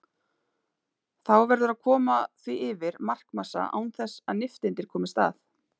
Þá verður að koma því yfir markmassa án þess að nifteindir komist að.